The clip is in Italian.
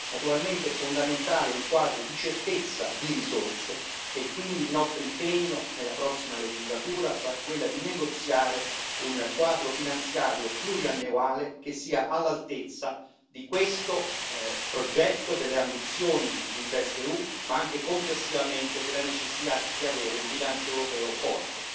Naturalmente è fondamentale un quadro di certezza di risorse e quindi il nostro impegno nella prossima legislatura sarà quello di negoziare un quadro finanziario pluriennale che sia all'altezza di questo progetto, delle ambizioni di InvestEU ma anche complessivamente della necessità di avere un bilancio europeo forte.